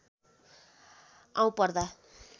आउँ पर्दा